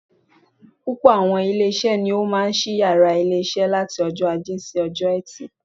Púpọ̀ àwọn ilé isé ni ó máa sí yàrá isé wọn láti ojó Ajé si ojó Etì